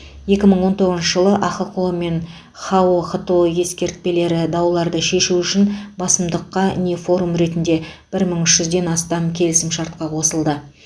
екі мың он тоғызыншы жылы ахқо мен хао хто ескертпелері дауларды шешу үшін басымдыққа не форум ретінде бір мың үш жүзден астам келісімшартқа қосылды